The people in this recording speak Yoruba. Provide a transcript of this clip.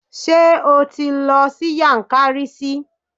Ṣé o ti lọ sí Yankari sí?